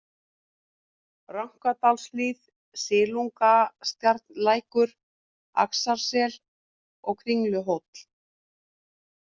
Raknadalshlíð, Silungstjarnarlækur, Axlarsel, Kringluhóll